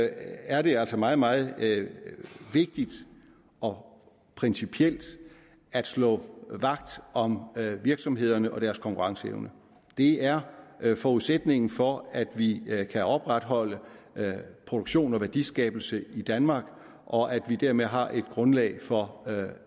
er det altså meget meget vigtigt og principielt at stå vagt om virksomhederne og deres konkurrenceevne det er forudsætningen for at vi kan opretholde produktion og værdiskabelse i danmark og at vi dermed har et grundlag for